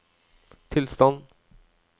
tilstand